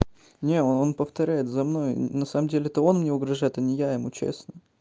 не он повторяет за мной на самом деле это он мне угрожает а не я ему честно